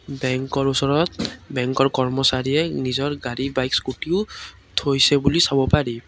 বেঙ্কৰ ওচৰত বেঙ্কৰ কৰ্মচাৰীয়ে নিজৰ গাড়ী বাইক স্কুটিও থৈছে বুলি চাব পাৰি।